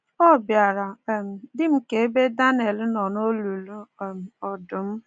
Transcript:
Ọ bịara um dị m ka ebe Daniel nọ n’olulu um ọdụm.